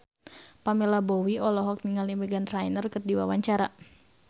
Pamela Bowie olohok ningali Meghan Trainor keur diwawancara